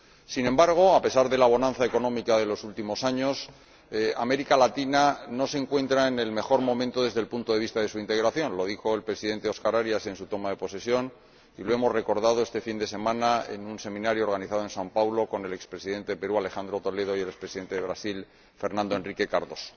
Sin embargo, a pesar de la bonanza económica de los últimos años, América Latina no se encuentra en el mejor momento desde el punto de vista de su integración —lo dijo el Presidente Óscar Arias en su toma de posesión y lo hemos recordado este fin de semana en un seminario organizado en São Paulo con el ex Presidente de Perú, Alejandro Toledo, y el ex Presidente de Brasil, Fernando Enrique Cardoso.